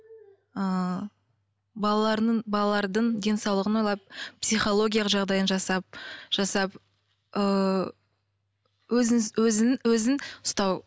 ыыы балаларының балалардың денсаулығын ойлап психологиялық жағдайын жасап жасап ыыы өзіңіз өзін өзін ұстау